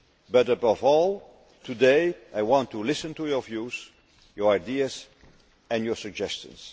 But above all, today, I want to listen to your views, your ideas and your suggestions